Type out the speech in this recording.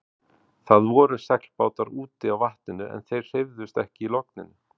Það voru seglbátar úti á vatninu en þeir hreyfðust ekki í logninu.